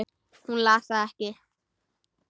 Hún las það ekki.